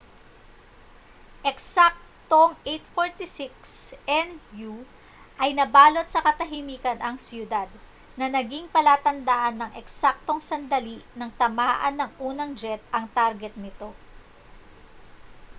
eksaktong 8:46 n.u. ay nabalot sa katahimikan ang siyudad na naging palatandaan ng eksaktong sandali nang tamaan ng unang jet ang target nito